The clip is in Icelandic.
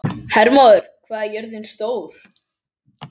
Hermóður, hvað er jörðin stór?